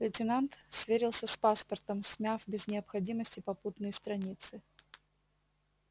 лейтенант сверился с паспортом смяв без необходимости попутные страницы